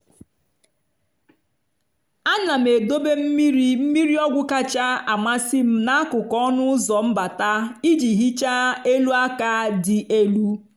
a na m edobe mmiri mmiri ọgwụ kacha amasị m n'akụkụ ọnụ ụzọ mbata iji hichaa elu aka dị elu.